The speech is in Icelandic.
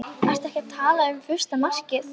Ertu ekki að tala um fyrsta markið?